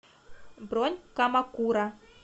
бронь камакура